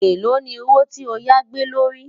èlò ní owó tí ọ yá gbé ló rí